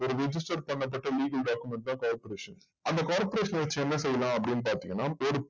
ஒரு register பண்றதுக்கு legal document தான் corporation அந்த corporation வச்சு என்ன செய்யலாம் அப்டின்னு பாத்திங்கன்ன